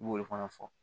I b'o de fana fɔ